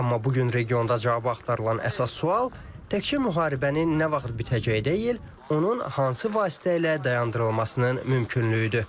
Amma bu gün regionda cavabı axtarılan əsas sual təkcə müharibənin nə vaxt bitəcəyi deyil, onun hansı vasitə ilə dayandırılmasının mümkünlüyüdür.